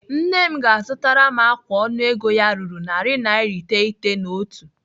Nne m ga-azụtara m ákwà ọnụego ya ruru naira narị iteghete na otu.